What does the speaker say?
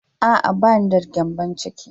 A'a, ba ni da gyambon ciki.